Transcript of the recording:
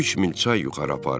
Üç mil çay yuxarı apardı.